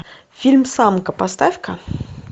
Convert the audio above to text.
фильм самка поставь ка